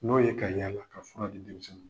N'o ye ka yaala ka fura di denmisɛnniw ma.